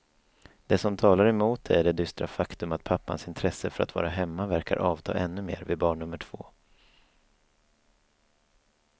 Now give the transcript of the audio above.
Det som talar emot det är det dystra faktum att pappans intresse för att vara hemma verkar avta ännu mer vid barn nummer två.